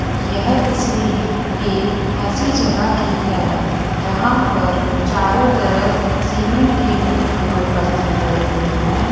यह तस्वीर एक ऐसी जगह की है जहां पर चारों तरफ सीमेंट के बने हुए बर्तन पड़े हुए हैं।